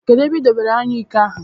Kedụ ebe I dobere anyụike ahụ?